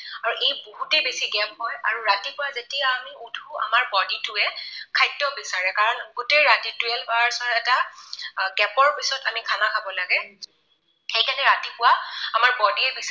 আৰু এই বহুতেই বেছি gap হয় আৰু ৰাতিপুৱা যেতিয়া আমি উঠো আমাৰ body টোৱে খাদ্য বিচাৰে। কাৰণ গোটেই ৰাতি twelve hours ৰ এটা gap ৰ পিছত আমি খানা খাব লাগে। সেইকাৰণে ৰাতিপুৱা আমাৰ body ৰ